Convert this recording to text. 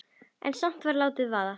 En samt var látið vaða.